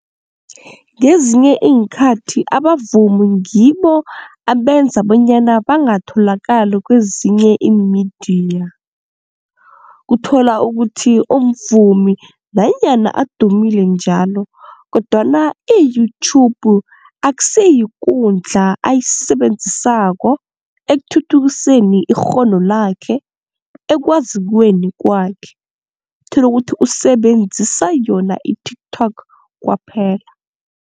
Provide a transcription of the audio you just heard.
Ngezinye iinkhathi abavumi ngibo abenza bonyana bangatholakali kwezinye iimidiya. Kuthola ukuthi umvumi nanyana adumile njalo kodwana i-YouTube akusiyikundla ayisebenzisako ekuthuthukiseni ikghono lakhe ekwazikweni kwakhe tholukuthi usebenzisa yona i-TikTok kwaphela.